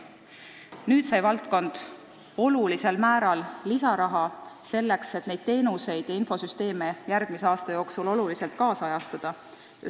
Nüüd sai valdkond olulisel määral lisaraha, selleks et neid teenuseid ja infosüsteeme järgmise aasta jooksul tänapäevastada.